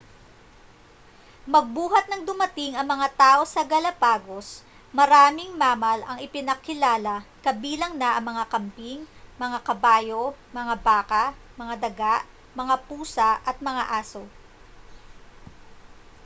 magbuhat nang dumating ang mga tao sa galapagos maraming mammal ang ipinakilala kabilang na ang mga kambing mga kabayo mga baka mga daga mga pusa at mga aso